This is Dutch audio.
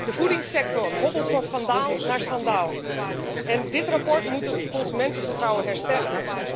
De voedingssector hobbelt van schandaal naar schandaal en dit verslag moet het consumentenvertrouwen herstellen.